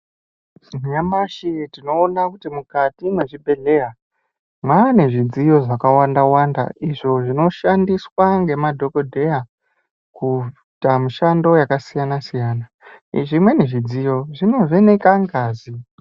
Nyamashi tinoona kuti mukati mwezvibhedheya, mwaane zvidziyo zvakawanda-wanda, izvo zvinoshandiswa ngemadhokodheya, kuita mishando yakasiyana-siyana . Zvimweni zvidziyo zvinovheneka ngazi.